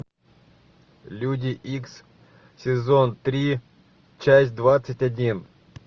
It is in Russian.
люди икс сезон три часть двадцать один